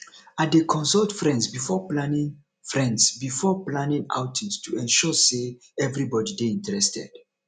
i dey consult friends before planning friends before planning outings to ensure sey everybody dey interested